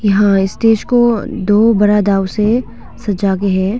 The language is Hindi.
यहां इस देश को दो बड़ा गांव से सजा के है।